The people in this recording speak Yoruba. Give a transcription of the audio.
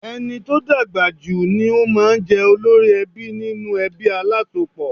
Ẹni tó dàgbà jù ni ó máa ń jẹ́ olórí ẹbí nínú ẹbí alásopọ̀.